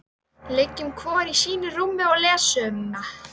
Liggjum hvor í sínu rúmi og lesum.